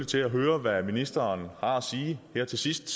til at høre hvad ministeren har at sige her til sidst